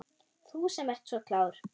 Þú sem ert svo klár.